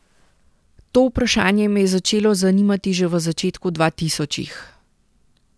To vprašanje me je začelo zanimati že v začetku dvatisočih.